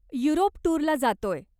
Europe टूरला जातोय.